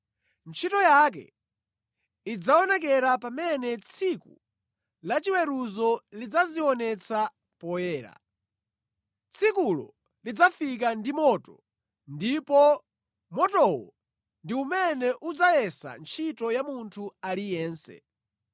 ntchito yake idzaonekera pamene Tsiku la chiweruzo lidzazionetsa poyera. Tsikulo lidzafika ndi moto, ndipo motowo ndi umene udzayesa ntchito ya munthu aliyense.